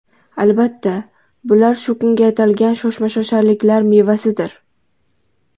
Albatta, bular shu kunga atalgan shoshmashosharliklar mevasidir.